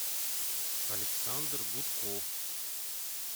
александр гудков